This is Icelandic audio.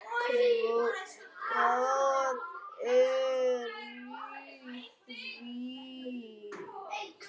Hvað er í því?